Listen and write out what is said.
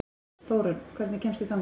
Þórunn, hvernig kemst ég þangað?